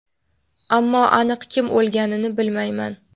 ammo aniq kim o‘lganini bilmayman.